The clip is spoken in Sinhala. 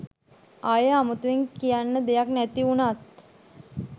ආයෙ අමුතුවෙන් කියන්න දෙයක් නැති වුනත්